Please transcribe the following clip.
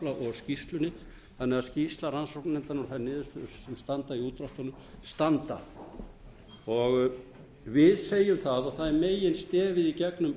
skýrslunni þannig að skýrsla rannsóknarnefndarinnar og þær niðurstöður sem standa í útdráttum standa við segjum það og það er meginstefið í gegnum